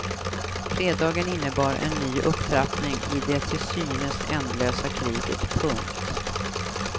Fredagen innebar en ny upptrappning i det till synes ändlösa kriget. punkt